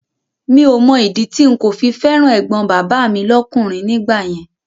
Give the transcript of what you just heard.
Mi ò Mọ ìdí tí n kò fi fẹ́ràn ẹ̀gbọ́n bàbá mi lọ́kùnrin nígbà yẹn